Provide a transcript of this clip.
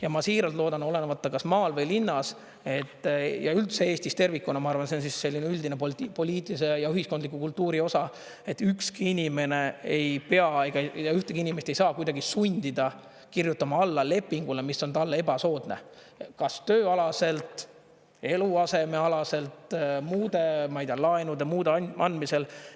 Ja ma siiralt loodan, et olenemata kas maal või linnas, ja üldse Eestis tervikuna, ma arvan, et see on selline üldine poliitilise ja ühiskondliku kultuuri osa, et ükski inimene ei pea, ühtegi inimest ei saa kuidagi sundida kirjutama alla lepingule, mis on talle ebasoodne, kas tööalaselt, eluasemealaselt, muude, ma ei tea, laenude andmisel.